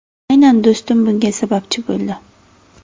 Aynan do‘stim bunga sababchi bo‘ldi.